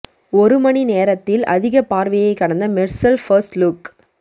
ஒரு மணி நேரத்தில் அதிக பார்வையை கடந்த மெர்சல் பர்ஸ்ட் லுக்